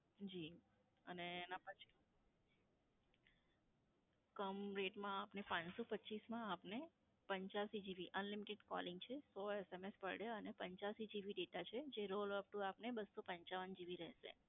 જી અને એનાં પછી, કમ rate માં આપને પાંચસો પચ્ચીસ માં આપને પંચયાસી GB unlimited calling છે. સો SMS per day અને પંચયાસી GB data છે. જે rollover upto આપને બસ્સો પંચાવન GB રહેશે.